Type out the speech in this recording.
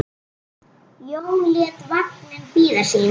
Jón lét vagninn bíða sín.